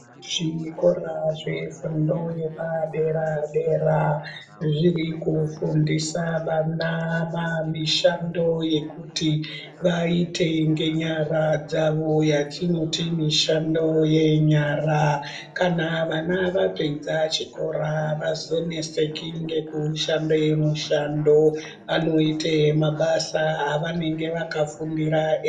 Zvikora zvefundo yepadera-dera, zviri kufundisa vana mamishando yekuti vaite ngenyara dzavo yatinoti mishando yenyara. Kana vana vapedza chikora, avazoneseki ngekushande mishando. Anoite yemabasa avanenge vakaifundira e....